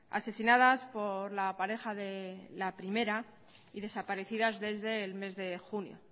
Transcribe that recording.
asesinadas por la pareja de la primera y desaparecidas desde el mes de junio